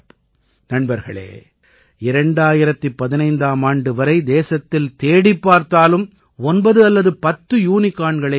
நண்பர்களே 2015ஆம் ஆண்டு வரை தேசத்தில் தேடிப் பார்த்தாலும் 9 அல்லது 10 யூனிகார்ன்களே இருந்தன